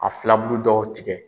A filabulu dɔw tigɛ.